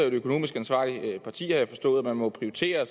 et økonomisk ansvarligt parti har jeg forstået og man må prioritere